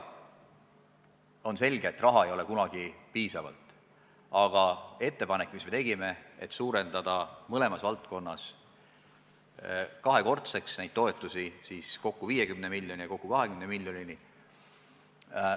On selge, et ka selleks ei ole raha piisavalt, ja me tegime ettepaneku suurendada mõlemas valdkonnas kahekordseks neid toetusi – kokku 50 miljonini ja kokku 20 miljonini.